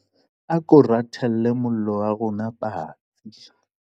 ako rathele mollo wa rona patsi